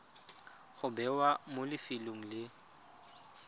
go bewa mo lefelong le